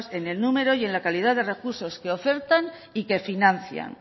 en el número y en la calidad de recursos que ofertan y que financian